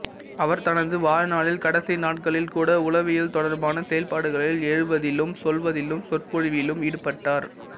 அவர் தனது வாழ்நாளில் கடைசி நாட்களில் கூட உளவியல் தொடர்பான செயல்பாடுகளில் எழுவதிலும் சொல்வதிலும் சொற்பொழிவிலும் ஈடுபட்டார்